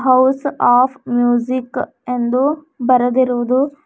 House of music ಎಂದು ಬರೆದಿರುವುದು.